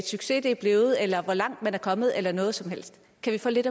succes det er blevet eller hvor langt man er kommet eller noget som helst kan vi få lidt